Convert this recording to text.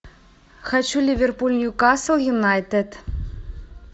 хочу ливерпуль ньюкасл юнайтед